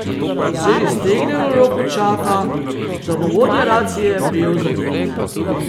Z iztegnjeno roko čaka, da bo vodja racije prijel za nit.